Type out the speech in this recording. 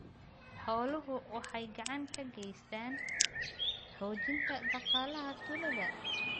Xooluhu waxay gacan ka geystaan ??xoojinta dhaqaalaha tuulada.